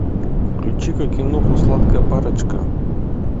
включи ка киноху сладкая парочка